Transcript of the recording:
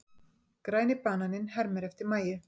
Græni bananinn hermir eftir Mæju.